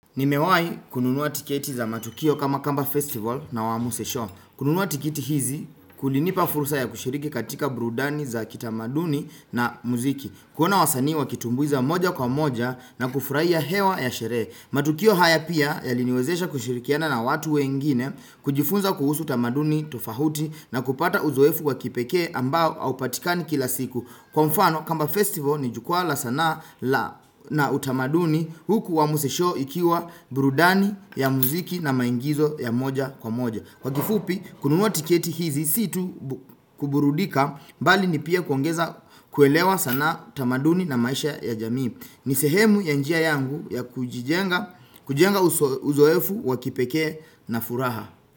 Nimewahi kununua tiketi za matukio kama kamba festival na wa musesho. Kununua tiketi hizi kulinipa fursa ya kushiriki katika burudani za kitamaduni na muziki. Kuona wasanii wakitumbuiza moja kwa moja na kufurahia hewa ya sherehe. Matukio haya pia yaliniwezesha kushirikiana na watu wengine, kujifunza kuhusu utamaduni tofauti na kupata uzoefu wa kipekee ambao haupatikani kila siku. Kwa mfano kamba festival ni jukwaa la sanaa na utamaduni huku wa musesho ikiwa burudani ya muziki na maingizo ya moja kwa moja Kwa kifupi kununua tiketi hizi si tu kuburudika bali ni pia kuongeza kuelewa sanaa utamaduni na maisha ya jamii ni sehemu ya njia yangu ya kujenga uzoefu wa kipekee na furaha.